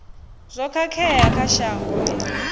zwo khakhea kha shango i